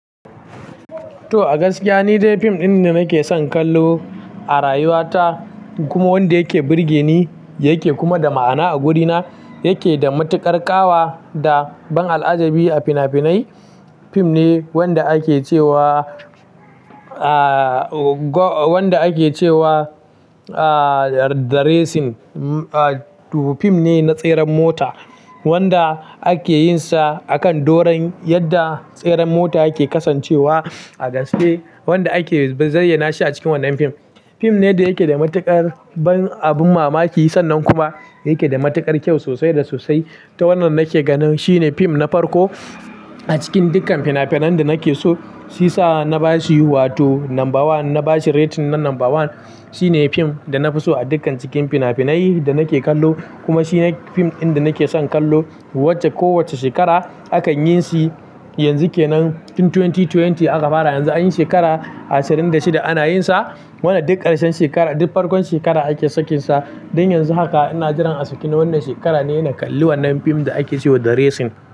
To a gaskiya ni dai fim ɗin da nake son kallo, a rayuwa ta, kuma wanda yake burge ni, yake kuma da ma'ana a gurina, yake da matuƙar ƙawa, da ban al'ajabi a finafinai, fim ne, wanda ake cewa, aa, wanda ake cewa, a, The Racing, hm fim ne na tseren mota, wanda ake yin sa, akan doron yadda tseren mota yake kasancewa a gaske. Wanda ake zayyana shi a cikin wannan fim. Fim ne da yake da matuƙar ban abun mamaki, sannan kuma yake da matuƙar kyau sosai da sosai. To wannan nake ganin shi ne fim na farko, a cikin dukkan finafinan da nake so, shi sa na ba shi wato number one, na ba shi rating na number one. Shi ne fim da na fi so a dukkan cikin finafinai da nake kallo, kuma shi ne fim ɗin da nake son kallo, wacce kowacce shekara akan yin shi, yanzu ke nan fim twenty twenty aka fara, yanzu anyi shekara ashirin da shida ana yin sa wanda duk ƙarshen shekara, duk farkon shekara ake sakinsa, don yanzu haka ina jiran a saki na wannan shekara ne, na kalli wannan fim da ake ce wa The Racing.